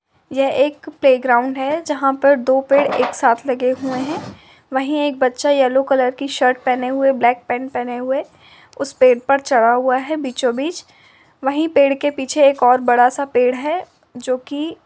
ये एक प्ले-ग्राउन्ड है। जहाँ पर दो पेड़ एक साथ लगे हुए है। वही एक बच्चा यल्लो कलर की शर्ट पहने हुए है। ब्लैक पेंट पहने हुए उस पेड़ पड़ चढ़ा हुआ है बीचों-बीच। वही पेड़ पीछे एक और बडा सा पेड़ है जोकि --